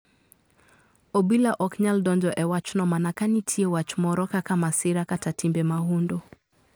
Obila ok nyal donjo e wachno mana kanitie wach moro kaka masira kata timbe mahundu.